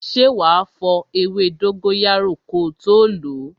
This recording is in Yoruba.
Ṣé wá fo ewé dóngóyárò ko tó lo?